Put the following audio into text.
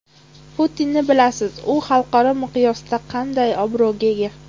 Putinni bilasiz, u xalqaro miqyosda qanday obro‘ga ega.